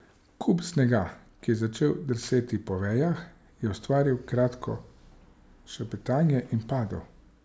Kup snega, ki je začel drseti po vejah, je ustvaril kratko šepetanje in padel.